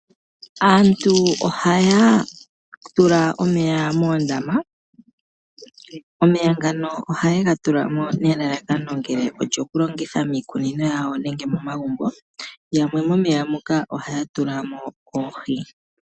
Aantu ohaya tula omeya moondama. Omeya ngano ohaye ga tula mo nelalakano ngele olyo kulongitha miikuninoyawo nenge momagumbo, yamwe momeya moka ohaya tula mo oohi.